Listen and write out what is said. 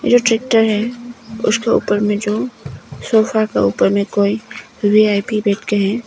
ये ट्रैक्टर है उसके ऊपर में जो सोफा का ऊपर में कोई वी_आई_पी बैठ के हैं।